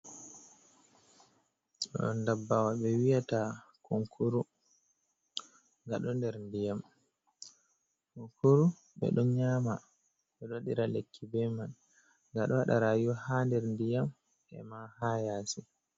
Ɗo dabbawa ɓe wiyata kunkuru, nga ɗo nder ndiyam, kunkuru ɓe ɗo nyama ɓeɗo wadira lekki be man, nga ɗo waɗa rayuwa ha nder ndiyam e man ha yasi.